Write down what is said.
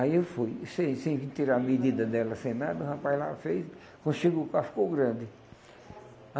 Aí eu fui, sem sem tirar a medida dela, sem nada, o rapaz lá fez, quando chegou cá ficou grande.